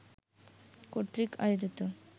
কর্তৃক আয়োজিত